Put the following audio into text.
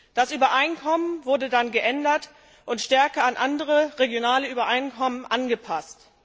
Das Übereinkommen wurde dann geändert und stärker an andere, regionale Übereinkommen angepasst.